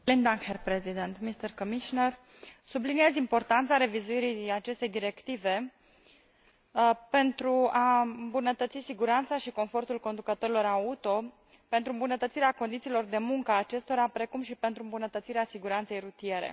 Domnule Președinte, subliniez importanța revizuirii acestei directive pentru a îmbunătăți siguranța și confortul conducătorilor auto, pentru îmbunătățirea condițiilor de muncă a acestora, precum și pentru îmbunătățirea siguranței rutiere.